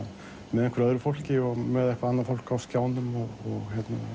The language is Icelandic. með einhverju öðru fólki og með annað fólk á skjánum og